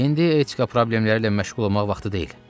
İndi etika problemləri ilə məşğul olmaq vaxtı deyil.